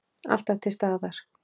Alltaf til staðar.